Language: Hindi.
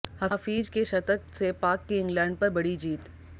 हफीज के शतक से पाक की इंग्लैंड पर बड़ी जीत